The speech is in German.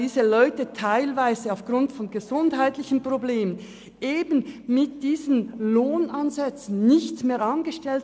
Leute mit Gesundheitsproblemen werden bei diesen Lohnsätzen nicht mehr angestellt.